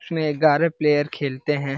इसमें एगारह प्लेयर खेलते हैं।